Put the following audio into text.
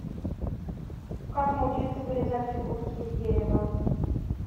как научиться вырезать фигурки из дерева